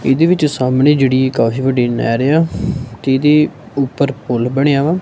ਇਹਦੇ ਵਿੱਚ ਸਾਹਮਣੇ ਜਿਹੜੀ ਇੱਕ ਕਾਫ਼ੀ ਵੱਡੀ ਨਹਿਰ ਏ ਆ ਕਿਉਂਕਿ ਉੱਪਰ ਪੁੱਲ ਬਣਿਆ ਵਾ।